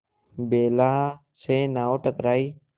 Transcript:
बेला से नाव टकराई